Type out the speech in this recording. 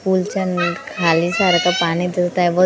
उलचन खाली सारखं पाणी दिसत आहे व दोन --